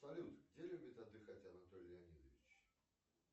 салют где любит отдыхать анатолий леонидович